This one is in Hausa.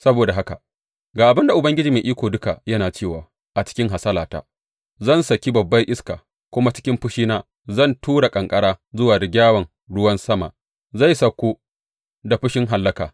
Saboda haka ga abin da Ubangiji Mai Iko Duka yana cewa a cikin hasalata zan saki babbar iska, kuma cikin fushina zan tura ƙanƙara kuma rigyawan ruwan sama zai sauko da fushin hallaka.